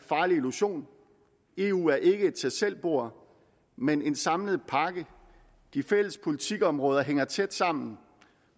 farlig illusion eu er ikke et tag selv bord men en samlet pakke de fælles politikområder hænger tæt sammen